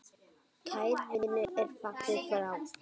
Kær vinur er fallin frá.